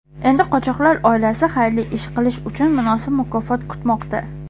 Endi qochoqlar oilasi xayrli ish uchun munosib mukofot kutmoqda.